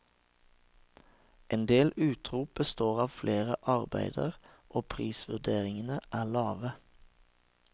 En del utrop består av flere arbeider, og prisvurderingene er lave.